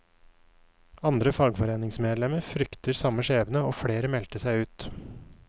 Andre fagforeningsmedlemmer fryktet samme skjebne, og flere meldte seg ut.